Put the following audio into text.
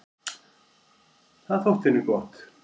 Það þótti henni gott.